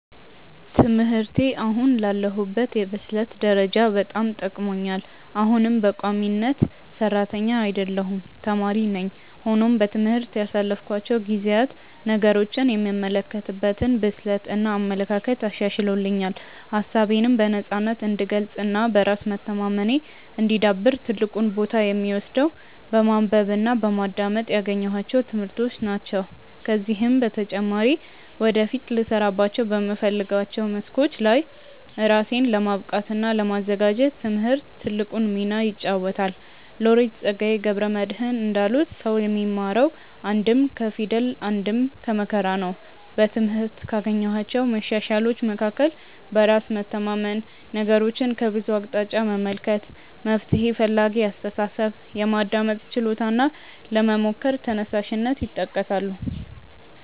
ትምህርቴ አሁን ላለሁበት የብስለት ደረጃ በጣም ጠቅሞኛል። አሁንም በቋሚነት ሰራተኛ አይደለሁም ተማሪ ነኝ። ሆኖም በትምህርት ያሳለፍኳቸው ጊዜያት ነገሮችን የምመለከትበትን ብስለት እና አመለካከት አሻሽሎልኛል። ሀሳቤነም በነፃነት እንድገልፅ እና በራስ መተማመኔ እንዲዳብር ትልቁን ቦታ የሚወስደው በማንበብ እና በማዳመጥ ያገኘኋቸው ትምህርቶች ናቸው። ከዚህም በተጨማሪ ወደፊት ልሰራባቸው በምፈልጋቸው መስኮች ላይ ራሴን ለማብቃት እና ለማዘጋጀት ትምህርት ትልቁን ሚና ይጫወታል። ሎሬት ፀጋዬ ገብረ መድህን እንዳሉት "ሰው የሚማረው አንድም ከፊደል አንድም ከመከራ ነው"።በትምህርት ካገኘኋቸው መሻሻሎች መካከል በራስ መተማመን፣ ነገሮችን ከብዙ አቅጣጫ መመልከት፣ መፍትሔ ፈላጊ አስተሳሰብ፣ የማዳመጥ ችሎታ እና ለመሞከር ተነሳሽነት ይጠቀሳሉ።